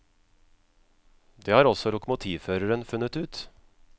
Det har også lokomotivføreren funnet ut.